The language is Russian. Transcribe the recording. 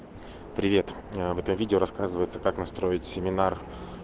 привет это видео рассказывается как настроить семинар